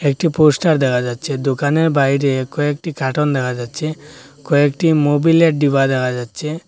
একটি পোস্টার দেখা যাচ্ছে দোকানের বাইরে কয়েকটি খাটন দেখা যাচ্ছে কয়েকটি মোবিলের ডিবা দেখা যাচ্ছে।